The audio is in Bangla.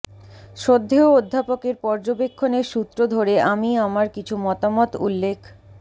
শ্রদ্ধেয় অধ্যাপকের পর্যবেক্ষণের সূত্র ধরে আমি আমার কিছু মতামত উল্লেখ